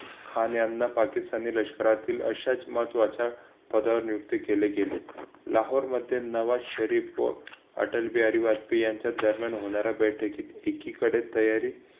खान यांना पाकिस्तानी लष्करातील अशाच महत्त्वाच्या पदावर नियुक्ती केली गेली. लाहोर मध्ये नवा शरीफ व अटल बिहारी वाजपेयी यांच्या दरम्यान होणाऱ्या बैठकीत एकीकडे तयारी